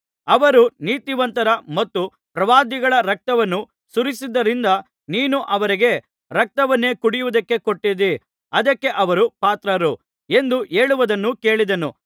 ಅವರು ನೀತಿವಂತರ ಮತ್ತು ಪ್ರವಾದಿಗಳ ರಕ್ತವನ್ನು ಸುರಿಸಿದ್ದರಿಂದ ನೀನು ಅವರಿಗೆ ರಕ್ತವನ್ನೇ ಕುಡಿಯುವುದಕ್ಕೆ ಕೊಟ್ಟಿದ್ದೀ ಅದಕ್ಕೆ ಅವರು ಪಾತ್ರರು ಎಂದು ಹೇಳುವುದನ್ನು ಕೇಳಿದೆನು